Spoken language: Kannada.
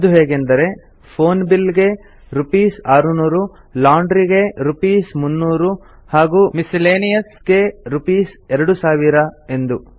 ಅದು ಹೇಗೆಂದರೆ ಫೋನ್ ಬಿಲ್ ಗೆ ರೂಪೀಸ್ 600 ಲಾಂಡ್ರಿ ಗೆ ರೂಪೀಸ್ 300 ಹಾಗೂ ಮಿಸ್ಸೆಲೇನಿಯಸ್ ಗೆ ರೂಪೀಸ್ 2000 ಎಂದು